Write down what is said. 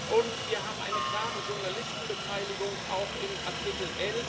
Und wir haben eine klare Journalisten Beteiligung, auch in Artikel